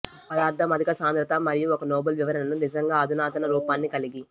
పదార్థం అధిక సాంద్రత మరియు ఒక నోబుల్ వివరణని నిజంగా అధునాతన రూపాన్ని కలిగి